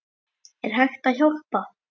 Er hægt að hjálpa?